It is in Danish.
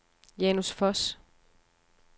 Janus Foss